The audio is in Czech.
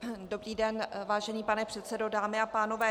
Dobrý den, vážený pane předsedo, dámy a pánové.